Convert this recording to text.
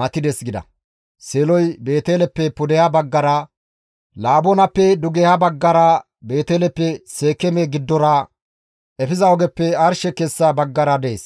matides» gida. Seeloy Beeteleppe pudeha baggara, Laboonappe dugeha baggara Beeteleppe Seekeeme giddora efiza ogeppe arshe kessa baggara dees.